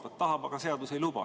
Ta tahab, aga seadus ei luba.